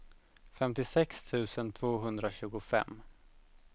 femtiosex tusen tvåhundratjugofem